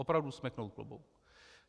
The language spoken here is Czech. Opravdu smeknout klobouk.